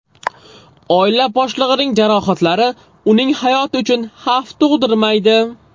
Oila boshlig‘ining jarohatlari uning hayoti uchun xavf tug‘dirmaydi.